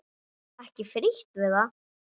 Ekki frítt við það!